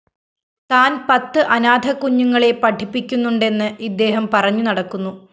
താന്‍ പത്ത് അനാഥക്കുഞ്ഞുങ്ങളെ പഠിപ്പിക്കുന്നുണ്ടെന്ന് ഇദ്ദേഹം പറഞ്ഞുനടക്കുന്നു